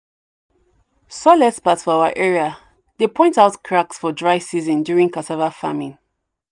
soil experts for our area dey point out cracks for dry season during cassava farming."